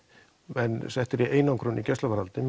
menn settir í einangrun í gæsluvarðhaldi